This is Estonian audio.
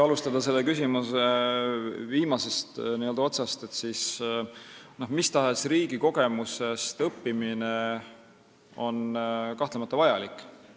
Alustades selle küsimuse viimasest otsast, ütlen, et mis tahes riigi kogemustest õppimine on kahtlemata vajalik.